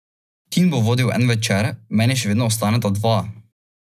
Eno gor, eno dol.